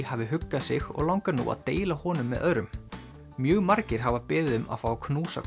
hafi huggað sig og langar nú að deila honum með öðrum mjög margir hafa beðið um að fá að knúsa